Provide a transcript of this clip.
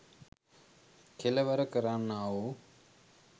කෙළවර කරන්නා වූ